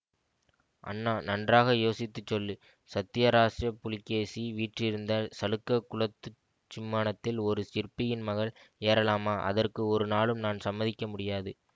அண்ணா நன்றாக யோசித்து சொல்லு சத்யாச்ரயப் புலிகேசி வீற்றிருந்த சளுக்க குலத்துச் சிம்மாசனத்தில் ஒரு சிற்பியின் மகள் ஏறலாமா அதற்கு ஒரு நாளும் நான் சம்மதிக்க முடியாது